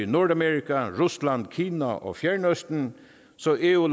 nordamerika rusland kina og og fjernøsten så eu